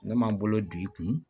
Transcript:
Ne m'an bolo d'i kun